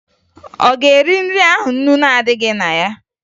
Ọ ga-eri nri ahụ ńnú na-adịghị na ya?